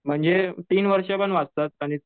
म्हणजे तीन वर्ष पण वाचतात आणि